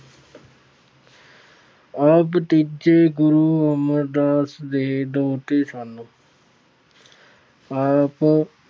ਆਪ ਤੀਜੇ ਗੁਰੂ ਅਮਰਦਾਸ ਦੇ ਦੋਹਤੇ ਸਨ। ਆਪ